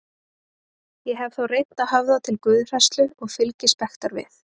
Ég hef þá reynt að höfða til guðhræðslu, og fylgispektar við